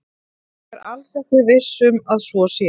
Ég er alls ekki viss um að svo sé.